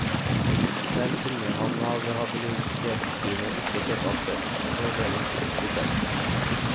Der kunne han av habilitetsgrunner ikke kjøpe aksjer, så ble det kunst i stedet.